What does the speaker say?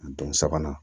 Don sabanan